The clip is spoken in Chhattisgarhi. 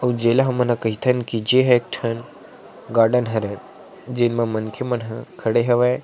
उ जेला हमन ह कैथन कि जे हा एक ठन गार्डन हरे जेन मा मनखे मन ह खड़े हवै।